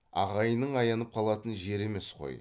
ағайынның аянып қалатын жері емес қой